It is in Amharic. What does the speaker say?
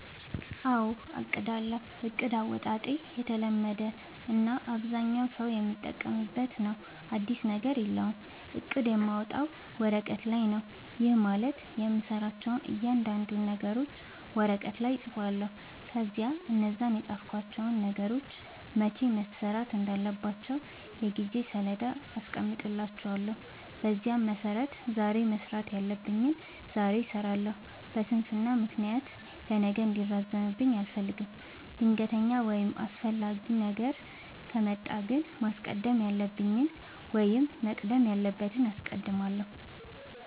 አዎ አቅዳለሁ። እቅድ አወጣጤ የተለመደ እና አብዛኛው ሠው የሚጠቀምበት ነው። አዲስ ነገር የለውም። እቅድ የማወጣው ወረቀት ላይ ነው። ይህም ማለት የምሠራቸውን እያንዳንዱን ነገሮች ወረቀት ላይ እፅፋለሁ። ከዚያ እነዛን የፃፍኳቸውን ነገሮች መቼ መሠራት እንዳለባቸው የጊዜ ሠሌዳ አስቀምጥላቸዋለሁ። በዚያ መሠረት ዛሬ መስራት ያለብኝን ዛሬ እሠራለሁ። በስንፍና ምክንያት ለነገ እንዲራዘምብኝ አልፈልግም። ድንገተኛ ወይም አስፈላጊ ነገር ከመጣ ግን ማስቀደም ያለብኝን ወይም መቅደም ያለበትን አስቀድማለሁ።